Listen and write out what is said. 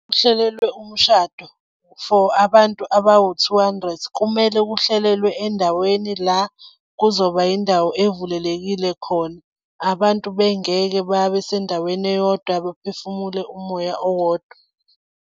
Kuhlelelwe umshado for abantu abawu-two hundred kumele kuhlelelwe endaweni la kuzoba yindawo evulelekile khona. Abantu bengeke babesendaweni eyodwa baphefumule umoya owodwa.